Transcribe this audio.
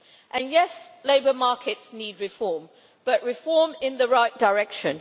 And yes, labour markets need reform, but reform in the right direction.